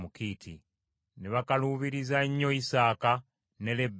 Ne bakaluubiriza nnyo Isaaka ne Lebbeeka obulamu.